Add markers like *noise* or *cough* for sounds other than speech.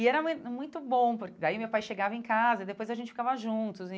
E era *unintelligible* muito bom, porque daí meu pai chegava em casa e depois a gente ficava juntos e...